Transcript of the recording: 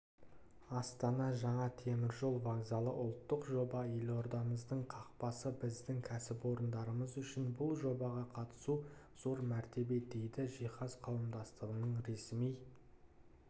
астана жаңа темір жол вокзалы ұлттық жоба елордамыздың қақпасы біздің кәсіпорындарымыз үшін бұл жобаға қатысу зор мәртебе дейді жиһаз қауымдастығының ресми